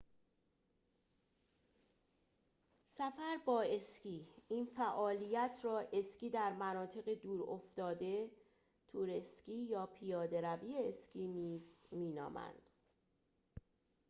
سفر با اسکی این فعالیت را اسکی در مناطق دور افتاده تور اسکی یا پیاده روی اسکی نیز می نامند